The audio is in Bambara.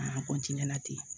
An